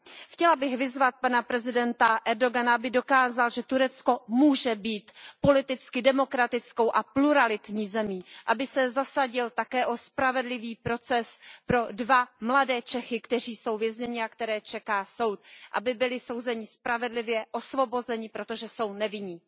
Chtěla bych vyzvat pana prezidenta Erdogana, aby dokázal, že Turecko může být politicky demokratickou a pluralitní zemí, a aby se zasadil také o spravedlivý proces pro dva mladé Čechy, kteří jsou vězněni a které čeká soud, a to tak, aby byli souzeni spravedlivě a osvobozeni, protože jsou nevinní.